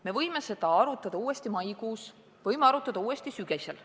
Me võime seda arutada uuesti maikuus, me võime seda uuesti arutada sügisel.